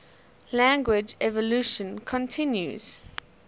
language evolution continues